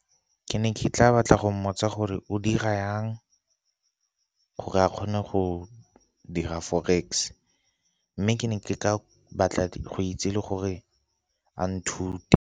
Ke ne ke tla batla go mmotsa gore o dira yang gore a kgone go dira forex, mme ke ne ke batla go itse le gore a nthute.